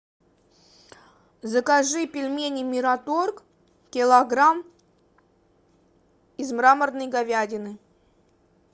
закажи пельмени мироторг килограмм из мраморной говядины